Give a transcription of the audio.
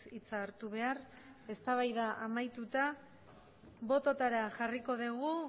hitza hartu behar eztabaida amaituta bototara jarriko dugu